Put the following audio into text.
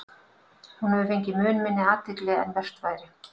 Hún hefur fengið mun minni athygli en vert væri.